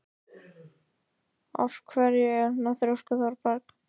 Af hverju ertu svona þrjóskur, Thorberg?